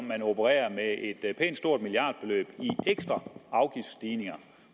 man opererer med et pænt stort milliardbeløb i ekstra afgiftsstigninger